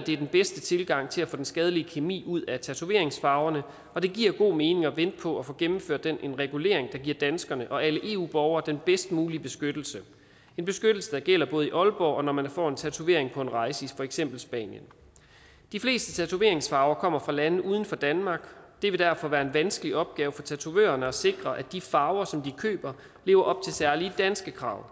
det er den bedste tilgang til at få den skadelige kemi ud af tatoveringsfarverne og det giver god mening at vente på at få gennemført en regulering der giver danskerne og alle eu borgere den bedst mulige beskyttelse en beskyttelse der gælder både i aalborg og når man får en tatovering på en rejse i for eksempel spanien de fleste tatoveringsfarver kommer fra lande uden for danmark det vil derfor være en vanskelig opgave for tatovørerne at sikre at de farver som de køber lever op til særlige danske krav